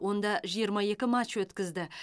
онда жиырма екі матч өткізді